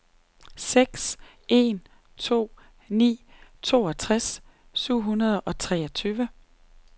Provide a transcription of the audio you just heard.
seks en to ni toogtres syv hundrede og treogtyve